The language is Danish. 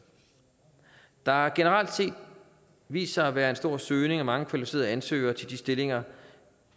der har generelt set vist sig at være en stor søgning og mange kvalificerede ansøgere til de stillinger